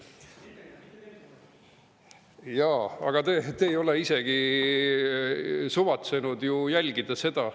Jaa, aga te ei ole isegi suvatsenud ju jälgida seda.